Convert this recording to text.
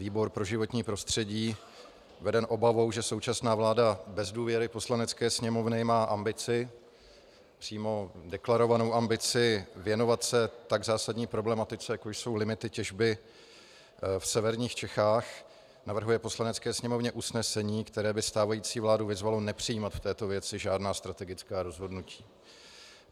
Výbor pro životní prostředí, veden obavou, že současná vláda bez důvěry Poslanecké sněmovny má ambici - přímo deklarovanou ambici - věnovat se tak zásadní problematice, jako jsou limity těžby v severních Čechách, navrhuje Poslanecké sněmovně usnesení, které by stávající vládu vyzvalo nepřijímat k této věci žádná strategická rozhodnutí.